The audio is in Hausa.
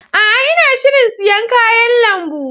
A'a! Ina shirin siyan kayan lambu.